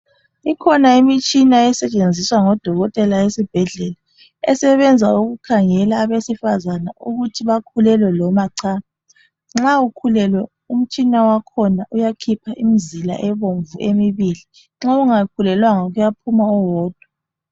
Ikhona imitshina esetshenziswa ngodokotela esibhedlela esebenza ukukhangela abesifazana ukuthi bakhulelwe loma cha. Nxa ukhulelwe umtshina wakhona uyakhipha imizila ebomvu emibili nxa ungakhulelwanga kuyaphuma owodwa.